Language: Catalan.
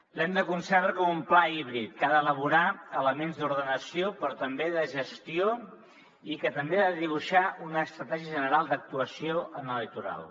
l’hem de concebre com un pla híbrid que ha d’elaborar elements d’ordenació però també de gestió i que també ha de dibuixar una estratègia general d’actuació en el litoral